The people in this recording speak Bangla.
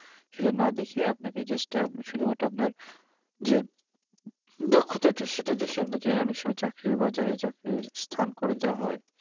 এটা না দেখে আপানাকে just শুধুমাত্র আপনার যে দক্ষতা টা সেটা দেখে আপনাকে অনেক সময় চাকরির বাজারে চাকরির স্থান করে দেওয়া হয়